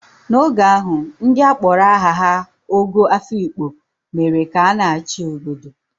N'oge ahụ, ndị a kpọrọ aha ha Ogo Afikpo mere ka a na-achị n'obodo.